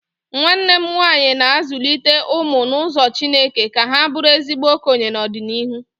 Nwanne m nwaanyị na-azụlite ụmụ n'ụzọ chineke ka ha bụrụ ezigbo okenye n'ọdịnịhu